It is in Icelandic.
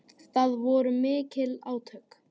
Það voru mikil átök.